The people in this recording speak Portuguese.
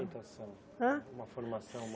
Orientação. Hã Uma formação